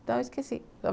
Então eu esqueci.